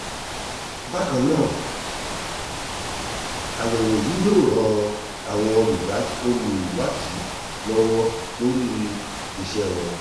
bákan náà àyẹ̀wò yìí yóò ran àwọn olùwádìí lọ́wọ́ lórí iṣẹ́ wọn